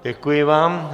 Děkuji vám.